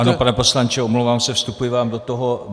Ano, pane poslanče, omlouvám se, vstupuji vám do toho.